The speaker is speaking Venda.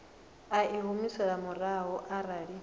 i a humiselwa murahu arali